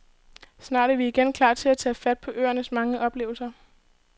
Snart er vi igen klar til at tage fat på øernes mange oplevelser.